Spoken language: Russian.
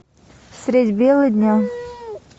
средь бела дня